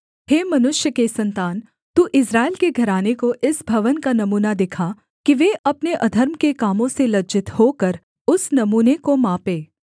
हे मनुष्य के सन्तान तू इस्राएल के घराने को इस भवन का नमूना दिखा कि वे अपने अधर्म के कामों से लज्जित होकर उस नमूने को मापें